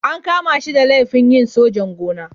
An kama shi da laifin yin sojan-gona.